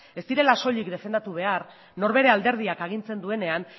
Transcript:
ez direla soilik defendatu behar norbere alderdiak agintzen duenean